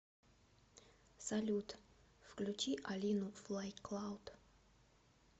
салют включи алину флай клауд